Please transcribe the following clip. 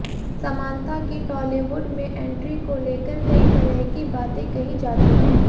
Samantha की टॉलीवुड में entry को लेकर कई तरह की बातें कही जाती हैं